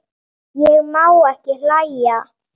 Ég má ekki hlæja.